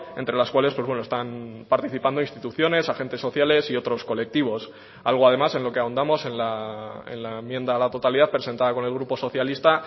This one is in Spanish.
entre las cuales están participando instituciones agentes sociales y otros colectivos algo además en lo que ahondamos en la enmienda a la totalidad presentada con el grupo socialista